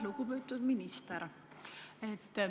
Lugupeetud minister!